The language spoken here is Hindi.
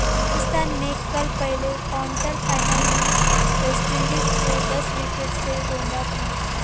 पाकिस्तान ने कल पहले क्वार्टर फाइनल में वेस्टइंडीज को दस विकेट से रौंदा था